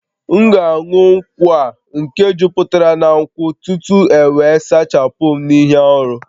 M'gāṅu nkwu a nke juputara na nkwu tutu ewe sachapum n'ihe-árú?